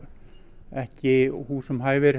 ekki húsum hæfir